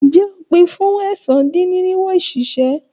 Ǹjé o pin fún ẹ̀sán-dín-irinwo òṣìṣẹ́.